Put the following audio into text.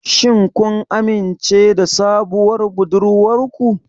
Shin kun amince da sabuwar budurwar ku?